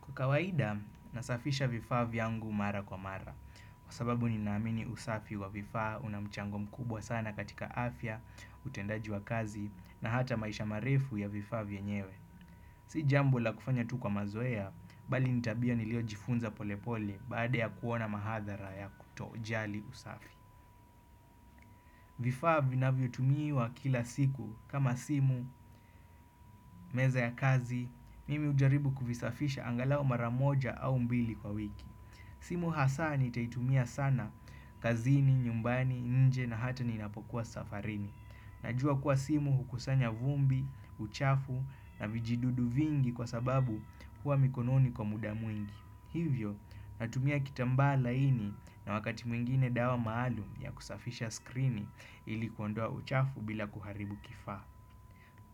Kwa kawaida, nasafisha vifaa vyangu mara kwa mara. Kwa sababu ni naamini usafi wa vifaa, unamchango mkubwa sana katika afya, utendaji wa kazi, na hata maisha marefu ya vifaa vye nyewe. Si jambo la kufanya tu kwa mazoea, bali nitabia nilio jifunza polepole baada ya kuona mahadhara ya kutojali usafi. Vifaa vinavyo tumiwa kila siku kama simu, meza ya kazi, mimi ujaribu kufisafisha angalau mara moja au mbili kwa wiki. Simu hasa nitaitumia sana, kazini, nyumbani, nje na hata ninapokuwa safarini. Najua kuwa simu hukusanya vumbi, uchafu na vijidudu vingi kwa sababu huwa mikononi kwa muda mwingi. Hivyo, natumia kitambaa laini na wakati mwingine dawa maalum ya kusafisha skrini ilikuondoa uchafu bila kuharibu kifaa.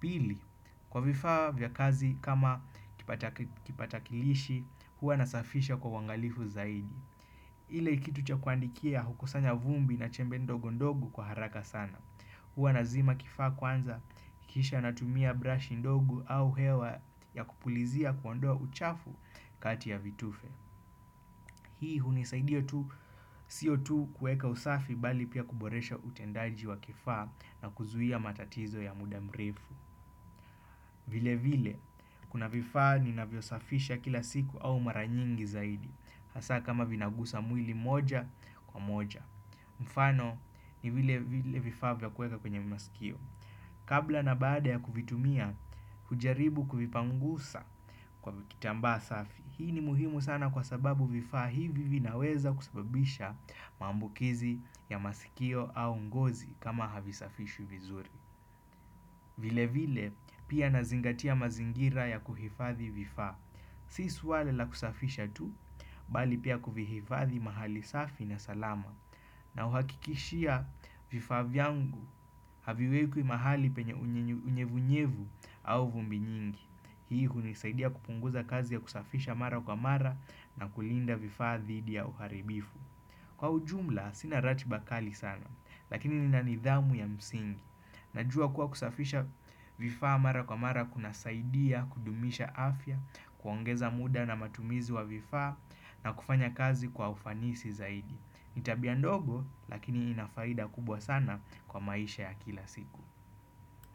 Pili, kwa vifaa vya kazi kama kipatakilishi, huwa nasafisha kwa uwangalifu zaidi. Ile ikitu cha kuandikia hukusanya vumbi na chembe ndogo ndogo kwa haraka sana. Huwa nazima kifaa kwanza, kisha natumia brush ndogo au hewa ya kupulizia kuondoa uchafu kati ya vitufe. Hii hunisaidia tu siyo tu kueka usafi bali pia kuboresha utendaji wa kifaa na kuzuhia matatizo ya mudamrefu. Vile vile, kuna vifaa ni navyosafisha kila siku au maranyingi zaidi, hasa kama vinagusa mwili moja kwa moja. Mfano, ni vile vile vifaa vya kueka kwenye masikio. Kabla na baada ya kuvitumia, hujaribu kufipangusa kwa kitambaa safi. Hii ni muhimu sana kwa sababu vifaa hivi vinaweza kusababisha maambukizi ya masikio au ngozi kama havisafishwi vizuri. Vile vile pia na zingatia mazingira ya kuhifadhi vifaa. Si suala la kusafisha tu, bali pia kuvihifadhi mahali safi na salama. Na uhakikishia vifaa vyangu, haviwekwi mahali penye unyevunyevu au vumbi nyingi. Hii hunisaidia kupunguza kazi ya kusafisha mara kwa mara na kulinda vifaa dhidi ya uharibifu. Kwa ujumla, sina rati bakali sana, lakini ni na nidhamu ya msingi. Najua kuwa kusafisha vifaa mara kwa mara kuna saidia, kudumisha afya, kuongeza muda na matumizi wa vifaa na kufanya kazi kwa ufanisi zaidi ni tabia ndogo lakini inafaida kubwa sana kwa maisha ya kila siku.